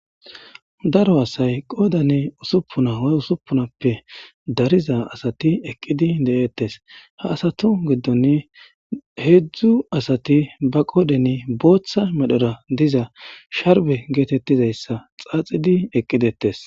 Daro assay qodan ussupuna woyi ussupunappe dariza assathi eqizi dethess. Ha assathu gidoni hezzu assathi ba qodheni booththa medhora dizza sharbe gethethizayssa xaxidi eqidethess.